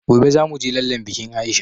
Gobe zamuje lallen bikin aisha